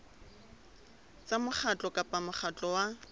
tsa mokgatlo kapa mokgatlo wa